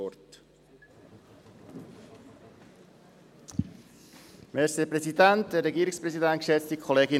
– Ich erteile dem Motionär Stampfli das Wort.